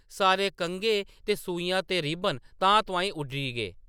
सारे कंघे ते सूइयां ते रिब्बन तांह्‌‌‌-तुआंह्‌‌‌ उड्डरी गे ।